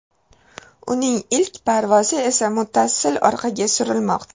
Uning ilk parvozi esa muttasil orqaga surilmoqda.